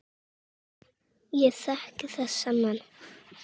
Ég þekki þessa menn.